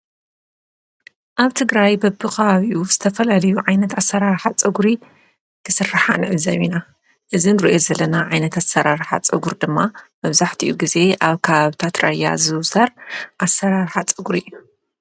ኣብ ትግራይ በብኸባቢኡ ተፈላለዩ ዓይነት ኣሰራርሓ ፀጉሪ እንትስርሓ ንዕዘብ ኢና፡፡ እዚ ንሪኦ ዘለና ኣሰራርሓ ፀጉሪ ድማ መብዛሕቲኡ ግዜ ኣብ ከባብታት ራያ ዝዝውተር ኣሰራርሓ ፀጉሪ እዩ፡፡